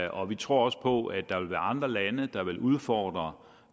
og vi tror også på at der vil være andre lande der vil udfordre